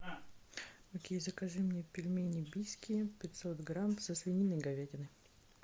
окей закажи мне пельмени бийские пятьсот грамм со свининой и говядиной